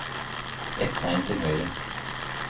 Ett tegn til høyre